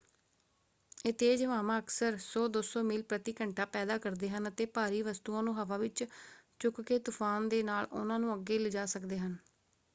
ਇਹ ਤੇਜ਼ ਹਵਾਵਾਂ ਅਕਸਰ 100-200 ਮੀਲ ਪ੍ਰਤੀ ਘੰਟਾ ਪੈਦਾ ਕਰਦੇ ਹਨ ਅਤੇ ਭਾਰੀ ਵਸਤੂਆਂ ਨੂੰ ਹਵਾ ਵਿੱਚ ਚੁੱਕਕੇ ਤੁਫ਼ਾਨ ਦੇ ਨਾਲ ਉਹਨਾਂ ਨੂੰ ਅੱਗੇ ਲਿਜਾ ਸਕਦੇ ਹਨ।